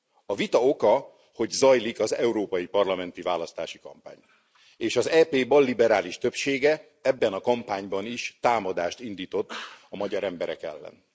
A vita oka, hogy zajlik az európai parlamenti választási kampány és az EP balliberális többsége ebben a kampányban is támadást indított a magyar emberek ellen.